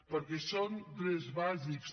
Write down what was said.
perquè són drets bàsics